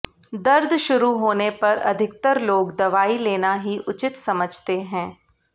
दर्द शुरू होने पर अधिकतर लोग दवाई लेना ही उचित समझते हैं